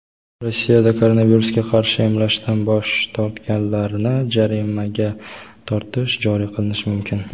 Rossiyada koronavirusga qarshi emlashdan bosh tortganlarni jarimaga tortish joriy qilinishi mumkin.